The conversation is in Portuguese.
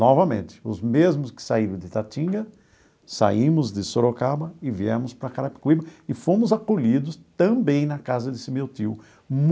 Novamente, os mesmos que saíram de Itatinga, saímos de Sorocaba e viemos para Carapicuíba e fomos acolhidos também na casa desse meu tio.